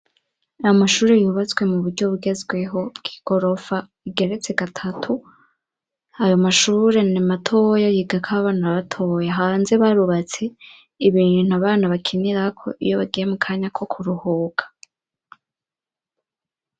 Ayo mashuri yubatswe mu buryo bugezweho bw'igorofa igeretse gatatu ayo mashure nimatoya yigako abana batoya hanze bahubatse ibintu abana bakinirako iyo bagiye mu kanya ko kuruhuka.